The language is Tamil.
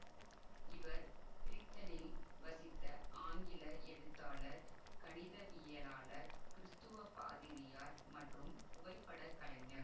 இவர் பிரித்தனில் வசித்த ஆங்கில எழுத்தாளர் கணிதவியலாளர் கிறிஸ்துவ பாதிரியார் மற்றும் புகைப்படக் கலைஞர்